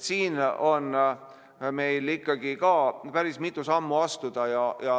Siin on meil ka päris mitu sammu astuda.